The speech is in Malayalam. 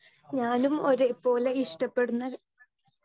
സ്പീക്കർ 2 ഞാനും ഒരേ പോലെ ഇഷ്ടപ്പെടുന്ന